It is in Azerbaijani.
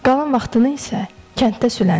Qalan vaxtını isə kənddə sülənirdi.